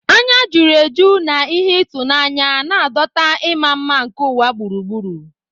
Anya juru eju na ihe ịtụnanya, na-adọta ịma mma nke ụwa gburugburu.